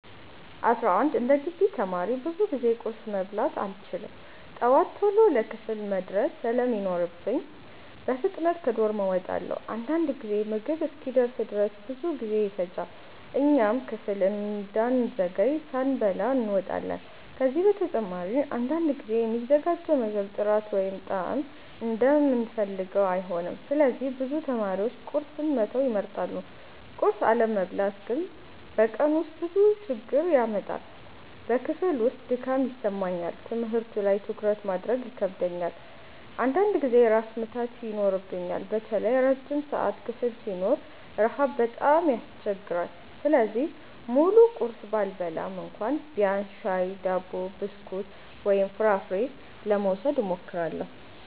11እንደ ግቢ ተማሪ ብዙ ጊዜ ቁርስ መብላት አልችልም። ጠዋት ቶሎ ለክፍል መድረስ ስለሚኖርብኝ በፍጥነት ከዶርም እወጣለሁ። አንዳንድ ጊዜ ምግብ እስኪደርስ ድረስ ብዙ ጊዜ ይፈጃል፣ እኛም ክፍል እንዳንዘገይ ሳንበላ እንወጣለን። ከዚህ በተጨማሪ አንዳንድ ጊዜ የሚዘጋጀው ምግብ ጥራት ወይም ጣዕም እንደምንፈልገው አይሆንም፣ ስለዚህ ብዙ ተማሪዎች ቁርስን መተው ይመርጣሉ። ቁርስ አለመብላት ግን በቀኑ ውስጥ ብዙ ችግር ያመጣል። በክፍል ውስጥ ድካም ይሰማኛል፣ ትምህርቱ ላይ ትኩረት ማድረግ ይከብደኛል፣ አንዳንድ ጊዜም ራስ ምታት ይኖረኛል። በተለይ ረጅም ሰዓት ክፍል ሲኖረን ረሃብ በጣም ያስቸግራል። ስለዚህ ሙሉ ቁርስ ባልበላም እንኳ ቢያንስ ሻይ፣ ዳቦ፣ ብስኩት ወይም ፍራፍሬ ለመውሰድ እሞክራለሁ።